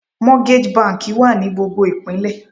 Mortgage banki wà ní gbogbo Ìpínlẹ̀.